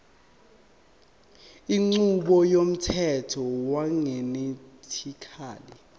inqubo yomthetho wegenetically